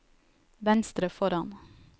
venstre foran